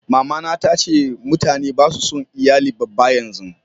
mamana ta ce mutane ba su son iyali babba yanzu